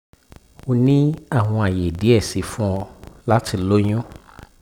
o ni awọn aye diẹ sii fun ọ lati loyun